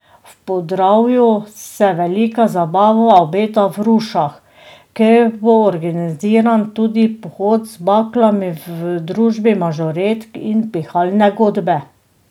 V Podravju se velika zabava obeta v Rušah, kjer bo organiziran tudi pohod z baklami v družbi mažoretk in pihalne godbe.